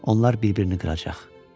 Onlar bir-birini qıracaq.